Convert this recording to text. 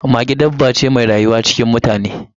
Mage dabba ce mai rayuwa cikin mutane